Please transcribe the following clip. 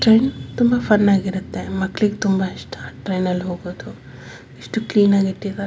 Train ತುಂಬಾ fun ಆಗಿರುತ್ತೆ ಮಕ್ಕಳಿಗೆ ತುಂಬಾ ಇಷ್ಟ ಟ್ರೈನ್ ಅಲ್ಲಿ ಹೋಗೋದು ಎಷ್ಟು ಕ್ಲೀನ್ ಆಗಿ ಇಟ್ಟಿದ್ದಾರೆ.